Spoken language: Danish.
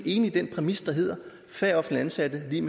enig i den præmis der hedder at færre offentligt ansatte er